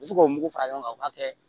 U bɛ se k'o mugu fara ɲɔgɔn kan u b'a kɛ